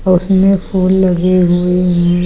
उसमें फूल लगे हुए हैं।